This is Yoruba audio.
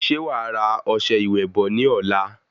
Ṣe wa ra ọsẹ ìwẹ̀ bò ní ọ̀la?